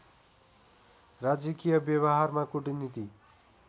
राजकीय व्यवहारमा कूटनीति